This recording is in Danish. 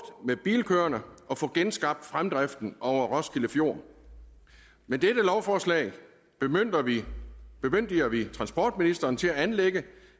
med bilkøerne og få genskabt fremdriften over roskilde fjord med dette lovforslag bemyndiger vi bemyndiger vi transportministeren til at anlægge